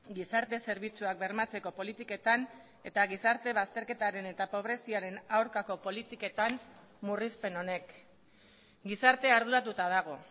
gizarte zerbitzuak bermatzeko politiketan eta gizarte bazterketaren eta pobreziaren aurkako politiketan murrizpen honek gizartea arduratuta dago